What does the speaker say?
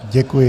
Děkuji.